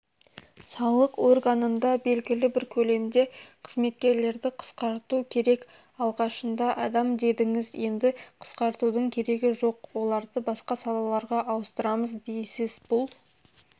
салық органында белгілі бір көлемде қызметкерлерді қысқарту керек алғашында адам дедіңіз енді қысқартудың керегі жоқ оларды басқа салаларға ауыстырамыз дейсіз бұл